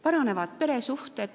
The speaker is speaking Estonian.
Paranevad peresuhted.